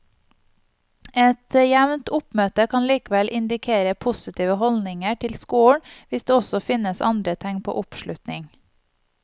Et jevnt oppmøte kan likevel indikere positive holdninger til skolen hvis det også finnes andre tegn på oppslutning.